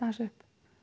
upp